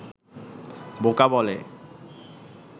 বোকা বলে